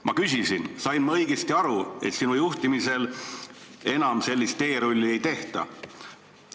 " Ma küsisin talt, kas ma sain õigesti aru, et sinu juhtimisel enam sellist teerulli ei tehta.